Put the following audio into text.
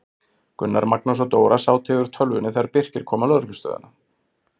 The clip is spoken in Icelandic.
Gunnar, Magnús og Dóra sátu yfir tölvunni þegar Birkir kom á lögreglustöðina.